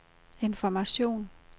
information